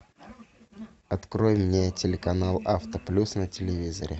открой мне телеканал авто плюс на телевизоре